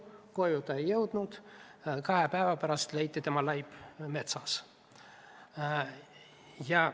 Koju ta ei jõudnud, kahe päeva pärast leiti tema laip metsast.